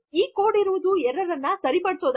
ಆ ಕೊಡ್ ಇರುವುದು ಎರ್ರರ್ ಅನ್ನು ಸರಿಪಡಿಸಲು